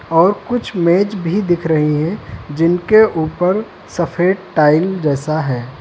और कुछ मेज भी दिख रही है जिनके ऊपर सफेद टाइल जैसा है।